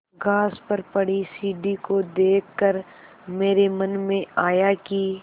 घास पर पड़ी सीढ़ी को देख कर मेरे मन में आया कि